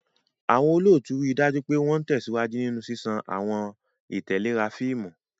Àwọn olóòtú rí i dájú pé wọ́n ń tẹ̀síwájú nínú ṣíṣàn àwọn ìtẹ̀léra fíìmù.